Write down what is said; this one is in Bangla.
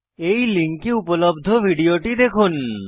এই লিঙ্কে উপলব্ধ ভিডিওটি দেখুন